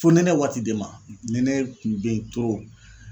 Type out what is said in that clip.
Fonɛnɛ waati de ma .Nɛnɛ kun be yen